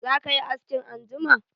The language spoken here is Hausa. Zaka yi askin anjima?